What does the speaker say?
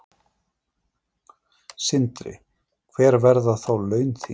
Sindri: Hver verða þá laun þín?